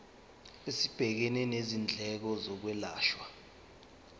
esibhekene nezindleko zokwelashwa